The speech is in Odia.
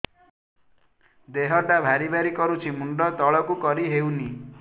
ଦେହଟା ଭାରି ଭାରି କରୁଛି ମୁଣ୍ଡ ତଳକୁ କରି ହେଉନି